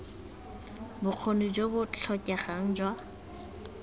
bokgoni jo bo tlhokegang jwa